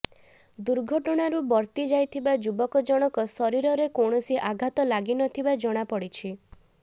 ଦୁର୍ଘଟଣାରୁ ବର୍ତ୍ତି ଯାଇଥିବା ଯୁବକ ଜଣକ ଶରୀରରେ କୌଣସି ଆଘାତ ଲାଗି ନଥିବା ଜଣାପଡ଼ିଛି